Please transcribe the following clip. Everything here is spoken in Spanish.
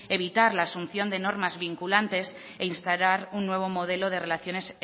evitar la asunción de normas vinculantes e instalar un nuevo modelo de relaciones